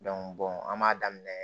an b'a daminɛ